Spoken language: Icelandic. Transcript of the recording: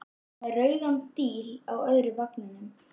Hún var með rauðan díl í öðrum vanganum.